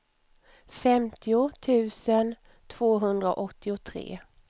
femtio tusen tvåhundraåttiotre